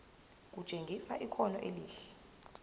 kutshengisa ikhono elihle